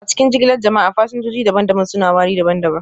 A cikin jigilar jama'a, fasinjoji daban-daban suna wari daban-daban